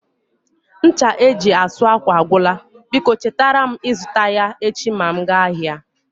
Ncha eji asụ ákwà agwụla, biko chetara m ịzụta ya echi ma m gaba ahịa